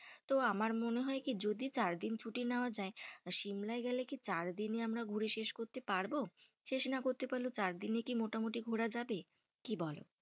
তো আমার মনে হয় কি যদি চার দিন ছুটি নেওয়া যাই, তো সিমলায় গেলে কি চার দিনে কি আমরা ঘুরে শেষ করতে পারবো। শেষ না করতে পারলেও চার দিনে কি মোটামুটি ঘোরা যাবে? কি বলো?